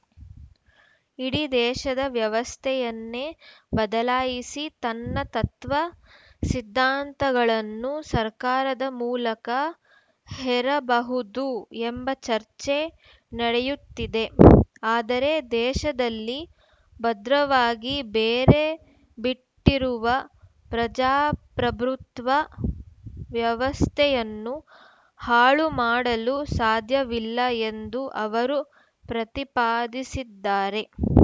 ಇಡೀ ದೇಶದ ವ್ಯವಸ್ಥೆಯನ್ನೇ ಬದಲಾಯಿಸಿ ತನ್ನ ತತ್ವ ಸಿದ್ಧಾಂತಗಳನ್ನು ಸರ್ಕಾರದ ಮೂಲಕ ಹೇರಬಹುದು ಎಂಬ ಚರ್ಚೆ ನಡೆಯುತ್ತಿದೆ ಆದರೆ ದೇಶದಲ್ಲಿ ಭದ್ರವಾಗಿ ಬೇರೆ ಬಿಟ್ಟಿರುವ ಪ್ರಜಾಪ್ರಭುತ್ವ ವ್ಯವಸ್ಥೆಯನ್ನು ಹಾಳುಮಾಡಲು ಸಾಧ್ಯವಿಲ್ಲ ಎಂದೂ ಅವರು ಪ್ರತಿಪಾದಿಸಿದ್ದಾರೆ